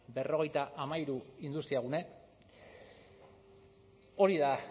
berrogeita hamairu industriagune hori da